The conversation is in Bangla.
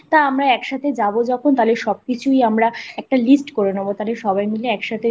তা আমরা একসাথে যাবো যখন তাহলে সব কিছুই আমরা একটা list করে নেবো তাহলে সবাই মিলে